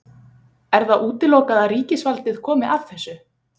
Er það útilokað að ríkisvaldið komi að þessu?